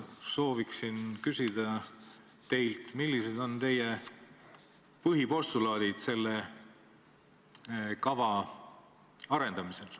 Soovin teilt küsida, millised on teie põhipostulaadid selle kava arendamisel.